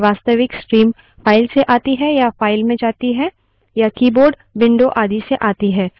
Linux में प्रक्रिया की प्रत्येक open खुली file एक पूर्णांक संख्या के साथ संयुक्त होती है